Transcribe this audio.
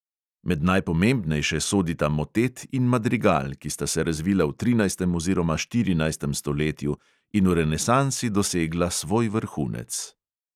Med najpomembnejše sodita motet in madrigal, ki sta se razvila v trinajstem oziroma štirinajstem stoletju in v renesansi dosegla svoj vrhunec.